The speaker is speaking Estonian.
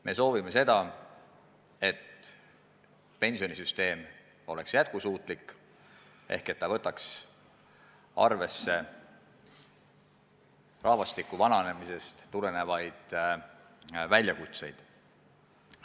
Me soovime, et pensionisüsteem oleks jätkusuutlik ehk võtaks arvesse rahvastiku vananemisest tulenevaid väljakutseid.